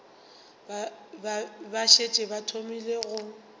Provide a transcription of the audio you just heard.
ba šetše ba thomile go